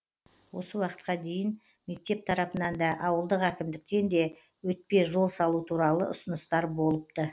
осы уақытқа дейін мектеп тарапынан да ауылдық әкімдіктен де өтпе жол салу туралы ұсыныстар болыпты